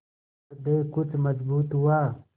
हृदय कुछ मजबूत हुआ